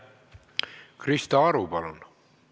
Krista Aru, palun!